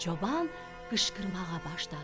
Çoban qışqırmağa başladı: